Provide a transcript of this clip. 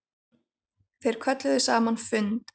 Þeir kölluðu saman fund.